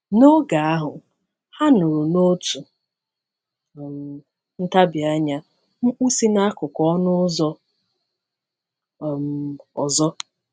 N’oge ahụ, ha nụrụ n’otu um ntabi anya mkpu si n’akụkụ ọnụ ụzọ um ọzọ.